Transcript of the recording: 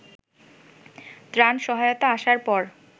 ত্রাণ সহায়তা আসার পর